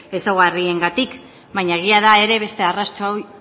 ezaugarriengatik baina egia da ere beste arrazoi